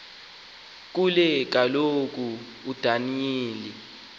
ke kaloku udaniyeli